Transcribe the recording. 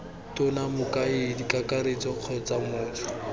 tona mokaedi kakaretso kgotsa motho